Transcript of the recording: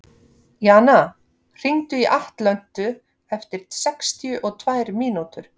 Jana, hringdu í Atlöntu eftir sextíu og tvær mínútur.